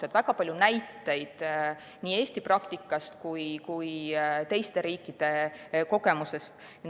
Toodi väga palju näiteid nii Eesti praktikast kui ka teiste riikide kogemusest.